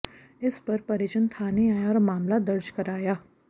इस पर परिजन थाने आए और मामला दर्ज कराया